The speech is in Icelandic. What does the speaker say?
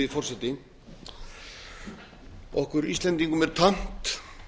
virðulegi forseti okkur íslendingum er tamt